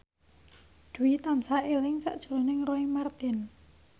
Dwi tansah eling sakjroning Roy Marten